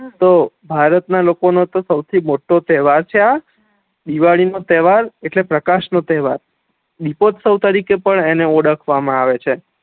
તો ભારત ના લોકો નો તો સૌથી મોટો તેહવાર છે આ દિવાળી નો તેહવાર એટલે પ્રકાશ નો તેહવાર દિપોસ્વ તરીકે પણ એને ઓળખવા મા આવે છે